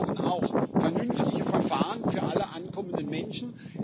Wir brauchen auch vernünftige Verfahren für alle ankommenden Menschen.